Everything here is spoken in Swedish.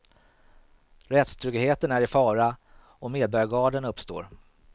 Rättstryggheten är i fara och medborgargarden uppstår.